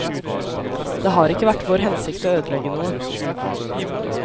Det har ikke vært vår hensikt å ødelegge noe.